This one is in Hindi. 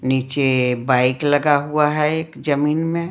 नीचे बाइक लगा हुआ है एक जमीन में--